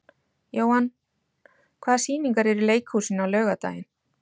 Jóann, hvaða sýningar eru í leikhúsinu á laugardaginn?